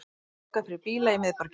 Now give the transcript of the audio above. Lokað fyrir bíla í miðborginni